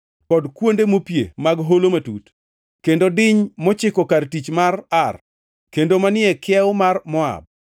kod kuonde mopie mag holo matut, kendo diny mochiko kar tich mar Ar kendo manie e kiewo mar Moab.”